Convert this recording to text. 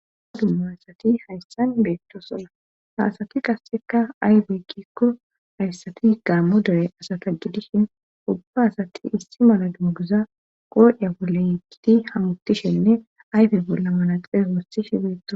Dummu asati hayssan beetto sona haasati qassekka aybey kiikko hayssati ygammo dere asata gidishin ubba asati issi mala dunguza qooiya bolle yekgiti hamuttishenne ayfe bolla malaxee wosishe beetto.